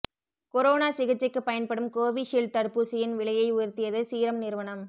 corona சிகிச்சைக்கு பயன்படும் Covishield தடுப்பூசியின் விலையை உயர்த்தியது சீரம் நிறுவனம்